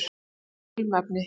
Nota ekki ilmefni.